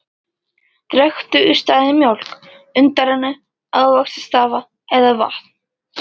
Drekktu í staðinn mjólk, undanrennu, ávaxtasafa eða vatn.